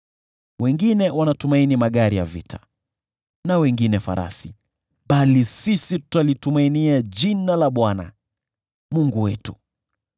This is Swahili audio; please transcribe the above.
Wengine wanatumaini magari ya vita, na wengine farasi, bali sisi tutalitumainia jina la Bwana , Mungu wetu.